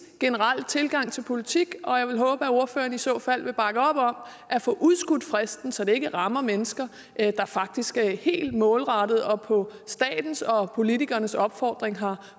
generelle tilgang til politik og jeg vil håbe at ordføreren i så fald vil bakke op om at få udskudt fristen så det ikke rammer mennesker der faktisk helt målrettet og på statens og politikernes opfordring har